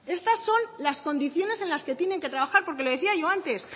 estas son las condiciones en las que tienen que trabajar porque le decía yo antes